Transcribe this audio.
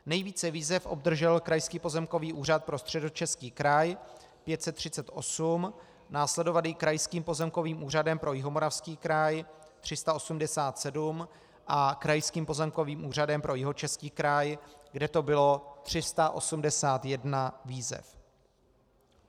Nejvíce výzev obdržel Krajský pozemkový úřad pro Středočeský kraj: 538, následovaný Krajským pozemkovým úřadem pro Jihomoravský kraj: 387 a Krajským pozemkovým úřadem pro Jihočeský kraj, kde to bylo 381 výzev.